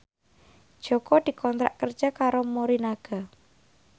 Jaka dikontrak kerja karo Morinaga